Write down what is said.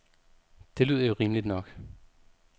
Det lyder jo rimeligt nok.